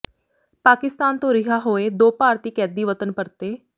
ਪਾਕਿਸਤਾਨ ਤੋਂ ਰਿਹਾਅ ਹੋਏ ਦੋ ਭਾਰਤੀ ਕੈਦੀ ਵਤਨ ਪਰਤੇ